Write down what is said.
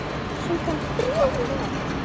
Söng hann þrjú lög.